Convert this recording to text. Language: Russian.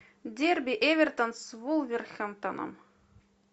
дерби эвертон с вулверхэмптоном